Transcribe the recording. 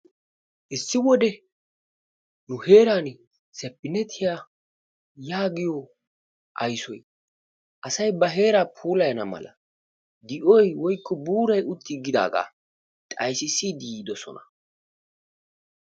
issi wode nu heerani saptineeetiya yaaggiyo aysoy asay ba heeraa puulayana mala di'oy woykko buuray uttiigidaaga xaysissiidi yiidosona.